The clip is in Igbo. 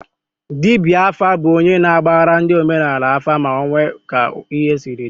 Dibịa afa bụ onye na-agbara ndị omenaala afa ma ọ nwee ka ihe siri dị